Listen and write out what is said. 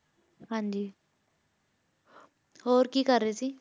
ਹਾਂਜੀ ਹੋਰ ਕੀ ਕਰ ਰਹੇ ਸੀ?